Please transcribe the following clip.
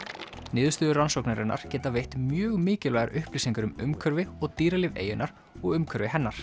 niðurstöður rannsóknarinnar geta veitt mjög mikilvægar upplýsingar um umhverfi og dýralíf eyjunnar og umhverfi hennar